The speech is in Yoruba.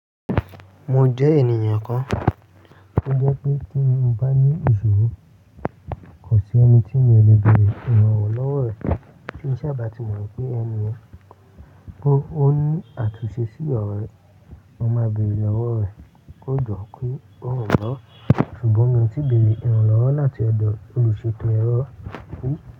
Mo jẹ́ ènìyàn kan tó jẹ́ pé tí mo bá ní ìṣòro, kò sí ẹni tí mi ò le bèrè ìrànlọ́wọ́ rẹ̀. Tí ń sa bá ti mọ̀ pé ẹni yẹn ó ní àtúnṣe sí ọrọ yẹn, mo máa béèrè lọ́wọ́ rẹ̀. Ko jọ ki o ranmi lọwọ sugbọn mi o ti beere iranlọwọ lati ọdọ oluseto ẹrọ ri.